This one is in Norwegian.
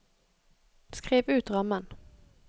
skriv ut rammen